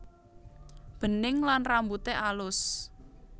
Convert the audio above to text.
Bening lan rambute alus